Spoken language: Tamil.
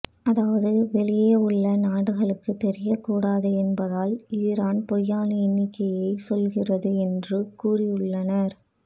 அதாவது வெளியே உள்ள நாடுகளுக்கு தெரிய கூடாது என்பதால் ஈரான் பொய்யான எண்ணிக்கையை சொல்கிறது என்று கூறி உள்ளனர்